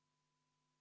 Kümme minutit vaheaega.